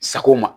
Sako ma